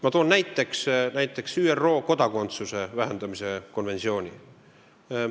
Ma toon näiteks ÜRO kodakondsusetuse vähendamise konventsiooni.